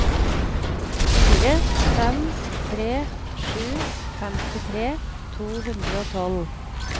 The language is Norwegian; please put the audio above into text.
fire fem tre sju femtitre to hundre og tolv